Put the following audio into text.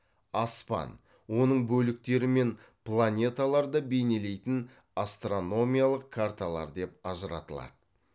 аспан оның бөліктері мен планеталарды бейнелейтін астрономиялық карталар деп ажыратылады